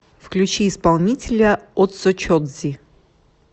включи исполнителя отсочодзи